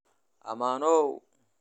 Ammaanow!